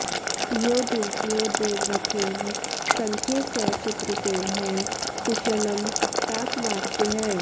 यो दुर्जयो देवरथेन सङ्ख्ये स चित्रसेनः कुशलं तात वाच्यः